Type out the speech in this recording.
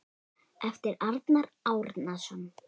eftir Arnar Árnason